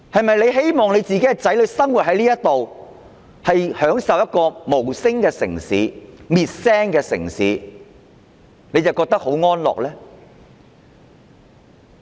若他們的子女生活在一個被滅聲的無聲城市，他們是否會覺得很安樂呢？